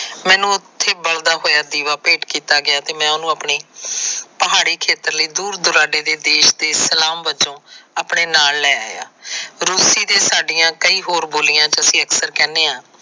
ਮੈਨੂੰ ਉਥੇ ਬਲਦਾ ਹੋਇਆਂ ਦੀਵਾਂ ਭੇਟ ਕੀਤਾ ਗਿਆਂ ਤੇ ਮੈਨੂਸ਼ ਆਪਣੇ ਪਹਾੜੀ ਖੇਤਰ ਲਈ ਦੂਰ ਦਰਾਡੇ ਦੇ ਦੇਸ਼ ਦੇ ਸਲਾਮ ਵੱਜੋ ਆਪਣੇ ਨਾਲ ਲੈ ਆਇਆਂ। ਰੂਸੀ ਤੇ ਸਾਡਿਆਂ ਕਈ ਹੋਰ ਬੋਲਿਆਂ ਚ ਅਕਸਰ ਅਸੀ ਕਹਿੰਦੇ ਆ।